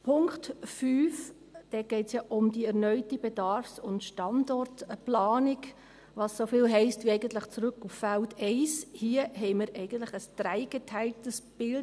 Beim Punkt 5 – dort geht es ja um die erneute Bedarfs- und Standortplanung, was eigentlich so viel heisst wie zurück auf Feld 1 – haben wir in unserer Fraktion ein dreigeteiltes Bild: